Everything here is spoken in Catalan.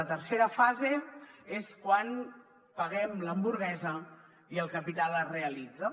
la tercera fase és quan paguem l’hamburguesa i el capital es realitza